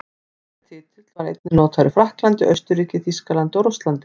Þessi titill var einnig notaður í Frakklandi, Austurríki, Þýskalandi og Rússlandi.